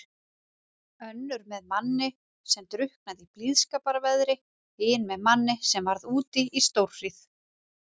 Önnur með manni sem drukknaði í blíðskaparveðri, hin með manni sem varð úti í stórhríð.